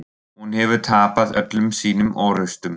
Hún hefur tapað öllum sínum orrustum.